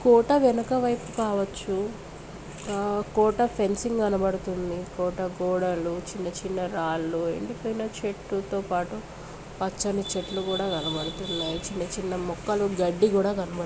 ఈ కోట వెనుక వైపు కావచ్చు ఆ కోట ఫెన్సింగ్ కనబడుతుంది కోట గోడలు చిన్నచిన్న రాళ్ళూ ఎండిపోయిన చెట్లతో పాటు పచ్చని చెట్లు కూడా కనిపిస్తున్నాయి చిన్నచిన్న మొక్కలు గడ్డి కూడా కనబడుతున్నాయి.